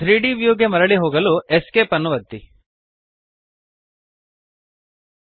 3ದ್ ವ್ಯೂ ಗೆ ಮರಳಿ ಹೋಗಲು Esc ಅನ್ನು ಒತ್ತಿರಿ